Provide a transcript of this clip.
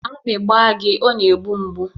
Akpị gba gị ọ na-egbu mgbu